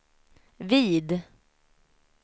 vid